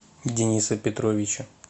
дениса петровича